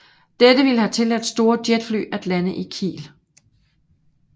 Dette ville have tilladt store jetfly at lande i Kiel